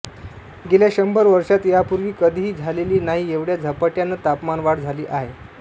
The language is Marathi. गेल्या शंभर वर्षांत यापूर्वी कधीही झालेली नाही एवढ्या झपाट्यानं तापमानवाढ झाली आहे